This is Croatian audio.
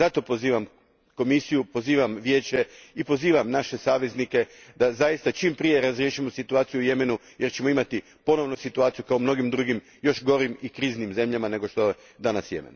Zato, pozivam Komisiju, pozivam Vijeće i pozivam naše saveznike da zaista čim prije razriješimo situaciju u Jemenu jer ćemo imati ponovno situaciju kao u mnogim drugim još gorim i kriznim zemljama nego što je danas Jemen.